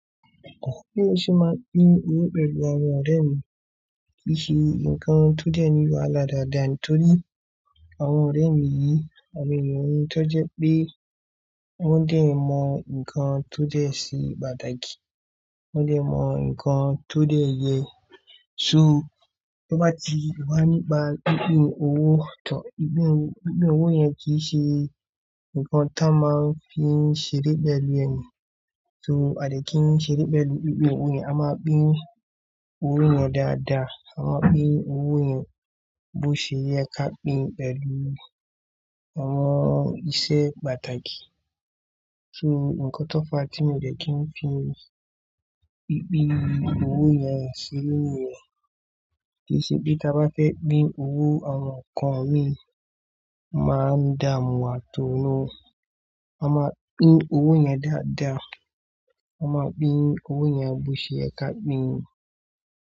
Bi mo ṣe máa n pín kini pẹ̀lú àwọn ọ̀rẹ́ mi kí ṣe nǹkan tó dẹ ní wàhalá daàdaa nítorí àwọn ọ̀rẹ́ mi yìí, àwọn ènìyàn ni tó jẹ pé wọ́n dè mọ nǹkan tó jẹ́ se pàtàkì, wọ́n dè mọ nǹkan tó dẹ yẹ. So to bá ti wà nípa pìnpín owó to, pìnpín, pìnpín owó yẹn kì í ṣe nǹkan tan máa ń fi ṣeré pẹ̀lú ẹniyan. So à dè kì n ṣeré pẹ̀lú pìnpín owó yẹn, a máa pín owó yẹn dáadáa, a máa pín owó yẹn bó ṣe yẹ ká pín pẹ̀lú àwọn iṣẹ́ pàtàkì. So nǹkan tó fa tí mo dẹ́ kí n fi pìnpín owó yẹn ṣeré niyẹn kì í ṣe pé tí a bá fẹ́ pín owó àwọn nnkan ni máa ń dààmú wà to no. A máa pín owó yẹn dáadáa, a máa pín owó yẹn bó ṣe yẹ ká pín.